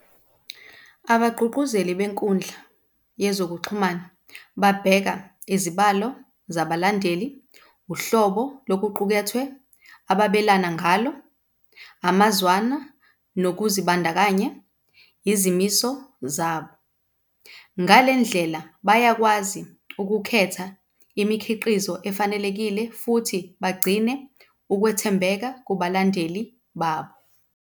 Abagqugquzeli benkundla yezokuxhumana babheka izibalo zabalandeli, uhlobo lokuqukethwe ababelana ngalo, amazwana nokuzibandakanya, yizimiso zabo. Ngale ndlela bayakwazi ukukhetha imikhiqizo efanelekile, futhi bagcine ukwethembeka kubalandeli babo.